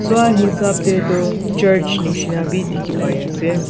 hasap tey tu church neshna beh dekhe pai ase.